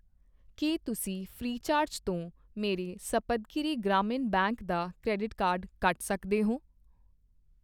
ਕੀ ਤੁਸੀਂਂ ਫ੍ਰੀਚਾਰਜ ਤੋਂ ਮੇਰੇ ਸਪਤਗਿਰੀ ਗ੍ਰਾਮੀਣ ਬੈਂਕ ਦਾ ਕਰੈਡਿਟ ਕਾਰਡ ਕੱਟ ਸਕਦੇ ਹੋ